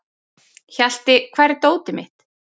Hjalti, hvar er dótið mitt?